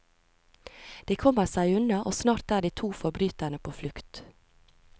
De kommer seg unna og snart er de to forbryterne på flukt.